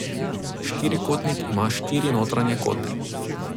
Štirikotnik ima štiri notranje kote.